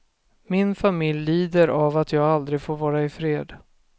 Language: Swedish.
Min familj lider av att jag aldrig får vara ifred.